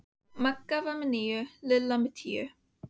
Magga var með níu, Lilla með tíu.